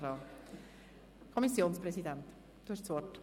– Der Kommissionspräsident spricht zuerst.